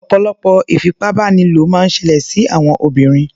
Ọ̀pọ̀lọpọ̀ ìfipábánilò máa ń ṣẹlẹ̀ sí àwọn obìnrin.